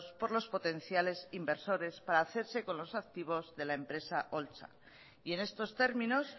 por los potenciales inversores para hacerse con los activos de la empresa holtza y en estos términos